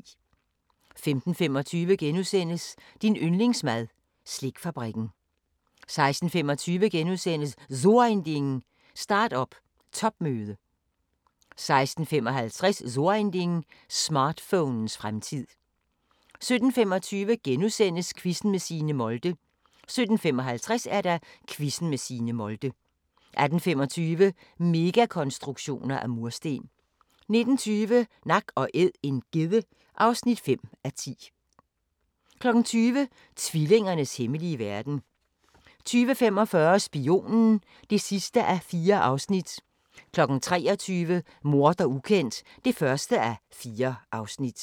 15:25: Din yndlingsmad: Slikfabrikken * 16:25: So Ein Ding: Start-up topmøde * 16:55: So Ein Ding: Smartphonens fremtid 17:25: Quizzen med Signe Molde * 17:55: Quizzen med Signe Molde 18:25: Megakonstruktioner af mursten 19:20: Nak & æd - en gedde (5:10) 20:00: Tvillingernes hemmelige verden 20:45: Spionen (4:4) 23:00: Morder ukendt (1:4)